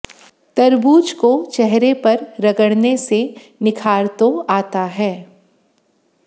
तरबूज को चेहरे पर रगड़ने से निखार तो आता है